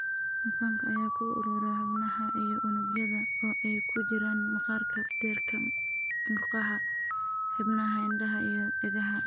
Dufankan ayaa ku urura xubnaha iyo unugyada, oo ay ku jiraan maqaarka, beerka, murqaha, xiidmaha, indhaha, iyo dhegaha.